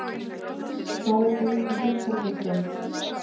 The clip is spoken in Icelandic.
Stóraukin uppeldisstöð?